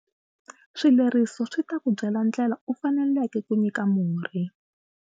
Swileriso swi ta ku byela ndlela u faneleke ku nyika murhi.